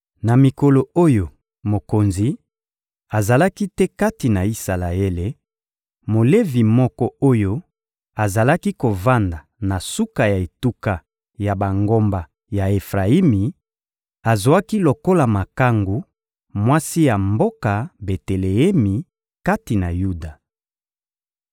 Na mikolo oyo mokonzi azalaki te kati na Isalaele, Molevi moko oyo azalaki kovanda na suka ya etuka ya bangomba ya Efrayimi azwaki lokola makangu mwasi ya mboka Beteleemi kati na Yuda.